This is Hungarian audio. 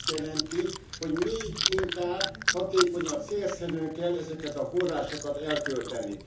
Ez azt jelenti, hogy még inkább hatékonyan, célszerűen kell ezeket a forrásokat elkölteni.